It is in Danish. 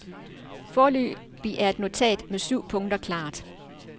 Foreløbig er et notat med syv punkter klart.